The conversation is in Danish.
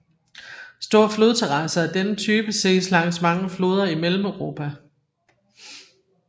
Store flodterrasser af denne type ses langs mange floder i Mellemeuropa